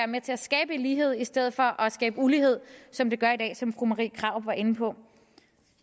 med til at skabe lighed i stedet for at skabe ulighed som det gør i dag som fru marie krarup var inde på